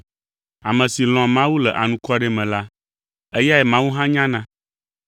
Ame si lɔ̃a Mawu le anukware me la, eyae Mawu hã nyana.